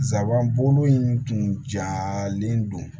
Sabanan bolo in tun jalen don